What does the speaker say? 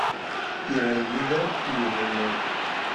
ираида юрьевна